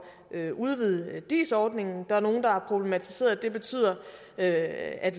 at udvide dis ordningen der er nogen der har problematiseret at at